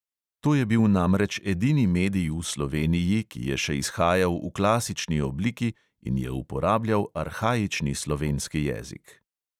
To je bil namreč edini medij v sloveniji, ki je še izhajal v klasični obliki in je uporabljal arhaični slovenski jezik.